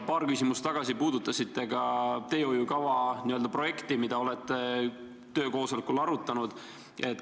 Paar küsimust tagasi puudutasite ka teehoiukava n-ö projekti, mida olete töökoosolekul arutanud.